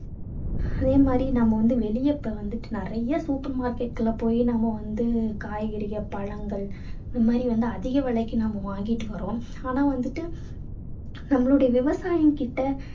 அதே மாதிரி நாம வந்து வெளிய இப்போ வந்துட்டு நிறைய super market குள்ள போயி நம்ம வந்து காய்கறிகள், பழங்கள் அது மாதிரி வந்து அதிக விலைக்கு நம்ம வாங்கிட்டு வர்றோம். ஆனா வந்துட்டு நம்மளுடைய விவசாயிங்க கிட்ட